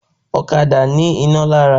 Ọ̀kadà ní iná lára